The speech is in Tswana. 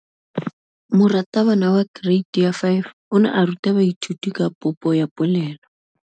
Moratabana wa kereiti ya 5 o ne a ruta baithuti ka popô ya polelô.